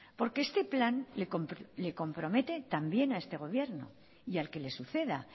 porque este plan le compromete también a este gobierno y al que le suceda